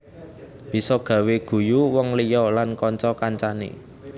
Bisa gawé guyu wong liya lan kanca kancané